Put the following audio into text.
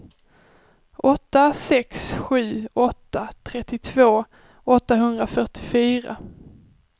åtta sex sju åtta trettiotvå åttahundrafyrtiofyra